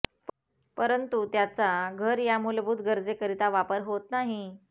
परंतु त्याचा घर या मूलभूत गरजेकरिता वापर होत नाही